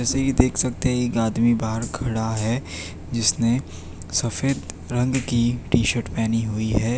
इसे देख सकते हैं एक आदमी बाहर खड़ा है जिसने सफेद रंग की टी शर्ट पहनी हुई है।